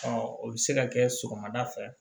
o bɛ se ka kɛ sɔgɔmada fɛ